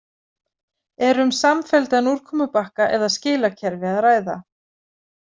Er um samfelldan úrkomubakka eða skilakerfi að ræða?